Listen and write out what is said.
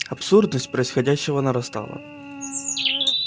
абсурдность происходящего нарастала